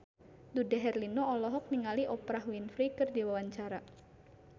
Dude Herlino olohok ningali Oprah Winfrey keur diwawancara